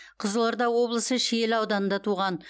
қызылорда облысы шиелі ауданында туған